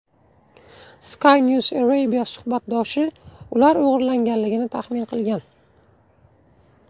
Skynews Arabia suhbatdoshi ular o‘g‘irlanganligini taxmin qilgan.